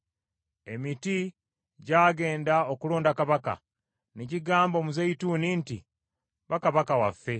Emiti gy’agenda okulonda kabaka, ne gigamba omuzeyituuni nti, ‘Ba kabaka waffe.’